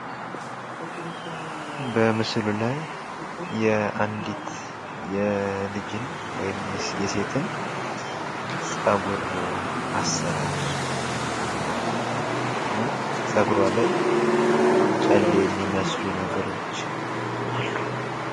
በምስሉ ላይ የአንዲት ልጅን ወይም ሴትን ፀጉር አሰራር እና ፀጉሯ ላይ ጨሌ የሚመስሉ ነገሮች አሉ።